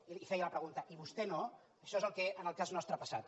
i li feia la pregunta i vostè no això és el que en el cas nostre ha passat